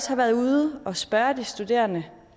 har været ude og spørge de studerende